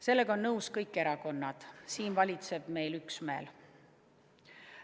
Sellega on nõus kõik erakonnad, siin valitseb meil üksmeel.